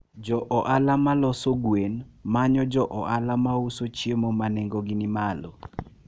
Jo ohala ma loso gwen manyo jo ohala ma uso chiemo ma nengogi ni malo.